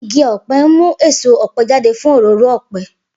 Igi ọ̀pẹ ń mú èso ọ̀pẹ jáde fún òróró ọ̀pẹ.